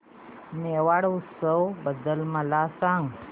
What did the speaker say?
मेवाड उत्सव बद्दल मला सांग